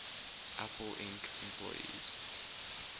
apple inc employees